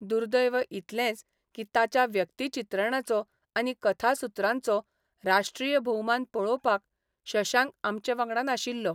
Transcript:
दुर्दैव इतलेंच की ताच्या व्यक्तिचित्रणांचो आनी कथासुत्रांचो राष्ट्रीय भोवमान पळोवपाक शशांक आमचे वांगडा नाशिल्लो.